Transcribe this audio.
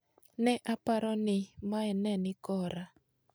"Ne aparo ni mae ne ni kora